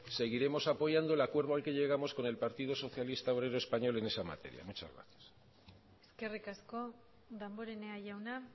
seguiremos apoyando el acuerdo al que llegamos con el partido socialista obrero español en esa materia muchas gracias eskerrik asko damborenea jauna